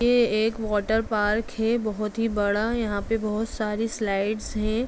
ये एक water park है बहोत ही बड़ा यहाँ पे बहोत सारी स्लाइडस हैं।